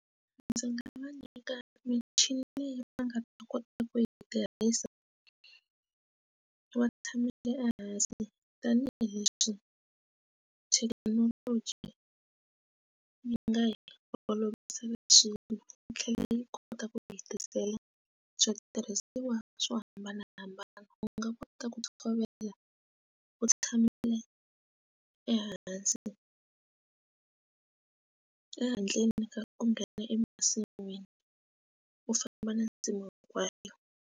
Ndzi nga va nyika michini leyi va nga ta kota ku yi tirhisa va tshamile ehansi tanihileswi thekinoloji yi nga hi olovisela swilo yi tlhela yi kota ku yi hetisela switirhisiwa swo hambanahambana u nga kota ku tshovela u tshamile ehansi ehandleni ka ku nghena emasin'wini u famba na nsimu hinkwayo.